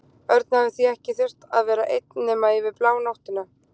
Örn hafði því ekki þurft að vera einn nema yfir blánóttina.